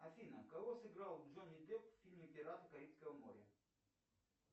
афина кого сыграл джонни депп в фильме пираты карибского моря